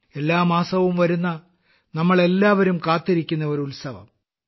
എല്ലാ മാസവും വരുന്ന നമ്മളെല്ലാവരും കാത്തിരിക്കുന്ന ഒരു ഉത്സവം